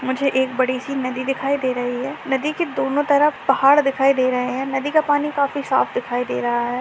मुझे एक बड़ी सी नदी दिखाई दे रही है नदी के दोनों तरफ पहाड़ दिखाई दे रहे है नदी का पानी काफी साफ दिखाई दे रहा है।